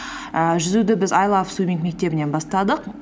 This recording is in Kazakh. ііі жүзуді біз ай лав суимминг мектебінен бастадық